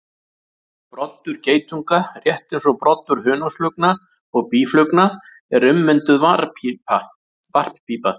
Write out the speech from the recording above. Broddur geitunga, rétt eins og broddur hunangsflugna og býflugna, er ummynduð varppípa.